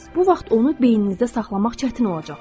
Bu vaxt onu beyninizdə saxlamaq çətin olacaq.